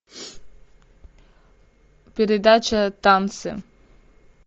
передача танцы